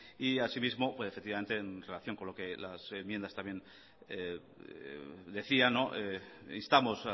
y así mismo efectivamente en relación con las enmiendas también decía instamos